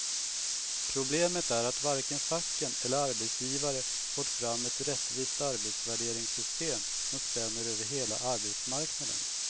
Problemet är att varken facken eller arbetsgivare fått fram ett rättvist arbetsvärderingssystem som spänner över hela arbetsmarknaden.